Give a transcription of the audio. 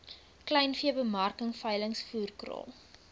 kleinveebemarking veilings voerkraal